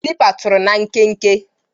Kalịpa tụrụ na nkenke.